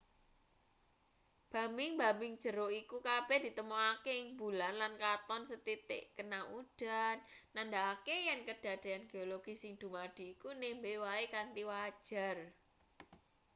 bambing-bambing jero iku kabeh ditemokake ing bulan lan katon sethithik kena udan nandhakake yen kedadean geologis sing dumadi iku nembe wae kanthi wajar